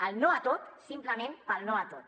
el no a tot simplement pel no a tot